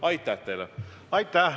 Aitäh!